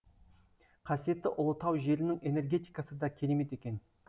қасиетті ұлытау жерінің энергетикасы да керемет екен